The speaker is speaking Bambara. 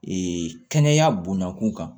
Ee kɛnɛya bonyakun kan